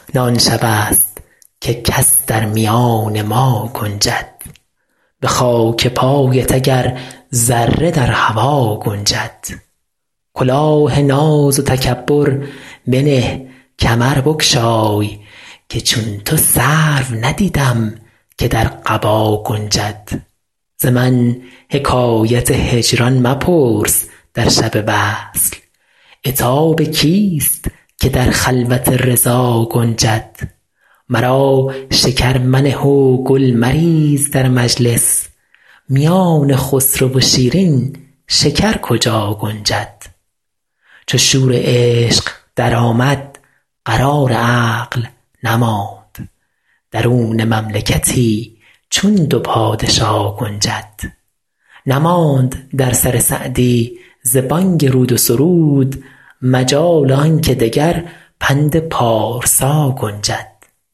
نه آن شبست که کس در میان ما گنجد به خاک پایت اگر ذره در هوا گنجد کلاه ناز و تکبر بنه کمر بگشای که چون تو سرو ندیدم که در قبا گنجد ز من حکایت هجران مپرس در شب وصل عتاب کیست که در خلوت رضا گنجد مرا شکر منه و گل مریز در مجلس میان خسرو و شیرین شکر کجا گنجد چو شور عشق درآمد قرار عقل نماند درون مملکتی چون دو پادشا گنجد نماند در سر سعدی ز بانگ رود و سرود مجال آن که دگر پند پارسا گنجد